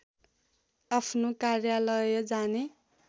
आफ्नो कार्यालय जाने